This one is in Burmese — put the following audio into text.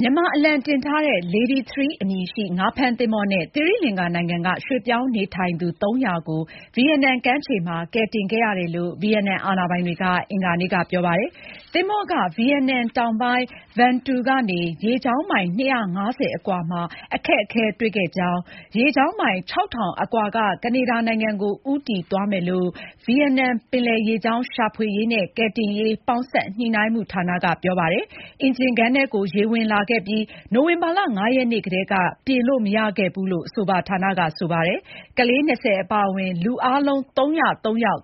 မြန်မာ အလံတင်ထားတဲ့ Lady 3 အမည်ရှိ ငါးဖမ်း သင်္ဘော နဲ့ သီရိလင်္ကာနိုင်ငံ က ရွှေ့ပြောင်းနေထိုင်သူ ၃၀၀ ကို ဗီယက်နမ် ကမ်းခြေ မှာ ကယ်တင်ခဲ့ရတယ် လို့ ဗီယက်နမ် အာဏာပိုင်တွေ က အင်္ဂါနေ့ က ပြောပါတယ်။ သင်္ဘော က ဗီယက်နမ် တောင်ပိုင်း Vung Tau ကနေ ရေကြောင်းမိုင် ၂၅၀ အကွာ မှာ အခက်အခဲတွေ့ခဲ့ကြောင်း၊ ရေကြောင်းမိုင် ၆၀၀၀ အကွာ က ကနေဒါ နိုင်ငံ ကို ဦးတည်သွားမယ်လို့ ဗီယက်နမ် ပင်လယ်ရေကြောင်း ရှာဖွေရေး နဲ့ ကယ်တင်ရေး ပေါင်းစပ်ညှိုနှိုင်းမှု ဌာန က ပြောပါတယ်။ အင်ဂျင်ခန်းထဲ ကို ရေဝင်လာခဲ့ပြီး၊ နိုဝင်ဘာ ၅ ရက်နေ့ကတည်း က ပြင်လို့ မရခဲ့ဘူး လို့ အဆိုပါ ဌာန က ဆိုပါတယ်။ ကလေး ၂၀ အပါအဝင် လူအားလုံး ၃၀၃ ယောက်